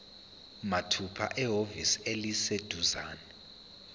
mathupha ehhovisi eliseduzane